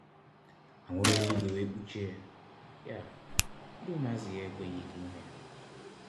Anwụrụ eluigwe wee kpuchie Ya, ndi ụmụazụ ya enweghikwa ike ịhụ ya.